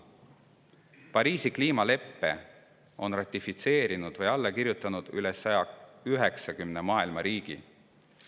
Pariisi kliimaleppe on ratifitseerinud ja sellele alla kirjutanud üle 190 maailma riigi.